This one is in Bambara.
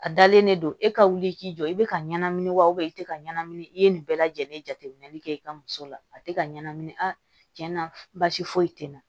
A dalen don e ka wuli i k'i jɔ i bɛ ka ɲɛnamini wa i tɛ ka ɲɛnamini i ye nin bɛɛ lajɛlen jateminɛli kɛ i ka muso la a tɛ ka ɲɛnamini a tiɲɛ na basi foyi tɛ na